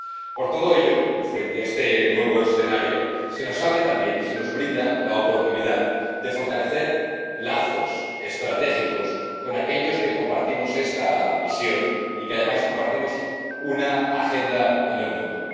Por todo ello, y frente a este nuevo escenario, se nos abre también, se nos brinda la oportunidad de fortalecer lazos estratégicos con aquellos que compartimos esta visión y que, además, compartimos una agenda en el mundo.